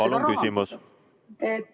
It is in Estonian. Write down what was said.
Palun küsimus!